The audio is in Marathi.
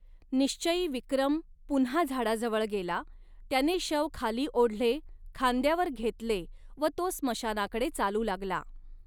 निश्चयी विक्रम पुन्हा झाडाजवळ गेला, त्याने शव खाली ओढले, खांद्यावर घेतले व तो स्मशानाकडे चालू लागला.